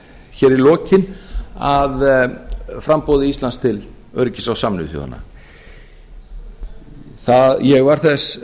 hér í lokin að framboði íslands til öryggisráðs sameinuðu þjóðanna ég